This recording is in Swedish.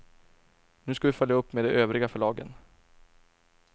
Nu ska vi följa upp med de övriga förlagen.